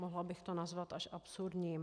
Mohla bych to nazvat až absurdním.